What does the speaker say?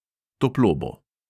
Toplo bo.